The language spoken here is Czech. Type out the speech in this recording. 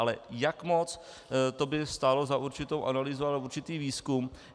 Ale jak moc, to by stálo za určitou analýzu a určitý výzkum.